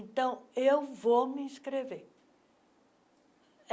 Então, eu vou me inscrever.